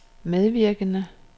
medvirkende